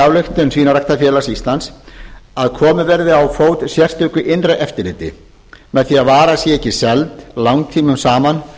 ályktun svínaræktarfélag íslands annars að komið verði á fót sérstöku innra eftirliti með því að vara sé ekki seld langtímum saman